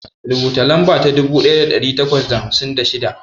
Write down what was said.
Rubuta lamba ta dubu ɗaya da ɗari takwas da hamsin da shida.